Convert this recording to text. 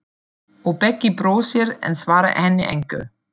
Og Beggi brosir, en svarar henni engu.